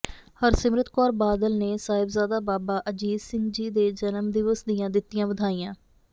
ਹਰਸਿਮਰਤ ਕੌਰ ਬਾਦਲ ਨੇ ਸਾਹਿਬਜ਼ਾਦਾ ਬਾਬਾ ਅਜੀਤ ਸਿੰਘ ਜੀ ਦੇ ਜਨਮ ਦਿਵਸ ਦੀਆਂ ਦਿੱਤੀਆਂ ਵਧਾਈਆਂ